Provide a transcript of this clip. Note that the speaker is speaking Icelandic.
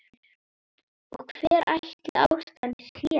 Og hver ætli ástæðan sé?